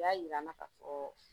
U y'a yir'an na k'a fɔ